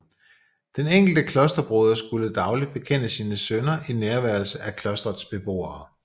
Den enkelte klosterbroder skulle dagligt bekende sine synder i nærværelse af klostrets beboere